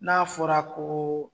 N'a fɔra koo